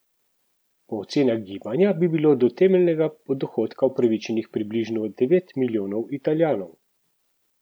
Po ocenah gibanja bi bilo do temeljnega dohodka upravičenih približno devet milijonov Italijanov.